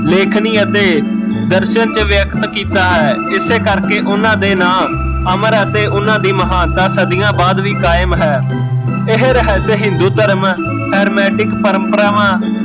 ਲੇਖਣੀ ਅਤੇ ਦਰਸ਼ਨ ਚ ਵਿਅਗਤ ਕੀਤਾ ਹੈ ਇਸੇ ਕਰਕੇ ਓਹਨਾਂ ਦੇ ਨਾਂ ਅਮਰ ਅਤੇ ਓਹਨਾਂ ਦੀ ਮਹਾਨਤਾ ਸਦੀਆ ਬਾਦ ਵੀ ਕਾਇਮ ਹੈ ਇਹ ਰਹੱਸ ਹਿੰਦੂ ਧਰਮ ਪਰਮਪਰਾਵਾਂ